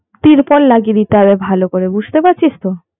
তিরপল লাগিয়ে দিতে হবে ভালো করে বুঝতে পারছিস তো